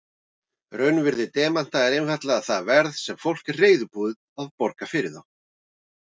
Raunvirði demanta er einfaldlega það verð sem fólk er reiðubúið að borga fyrir þá.